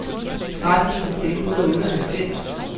tretten tusind et hundrede og otteoghalvfems